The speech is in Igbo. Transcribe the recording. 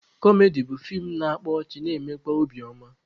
Kọmedi bụ feem na-akpa ọchị na-emekwa obi oma.